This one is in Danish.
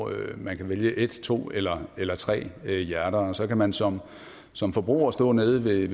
man kan vælge et to eller eller tre hjerter og så kan man som som forbruger stå nede ved